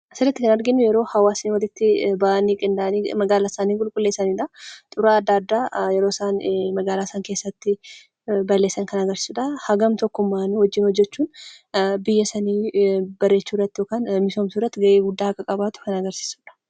Asirratti kan arginu yeroo hawaasni walitti bahanii magaalaa isaanii qulqulleessanidha. Xuraawaa adda addaa yeroo isaan itti magaalaa sana keessatti balleessan kan agarsiisudha. Hagam tokkummaan hojii hojjechuun biyya sana bareechuu yookaan misoomsuu irratti gahee guddaa akka qabaatu kan agarsiisudha.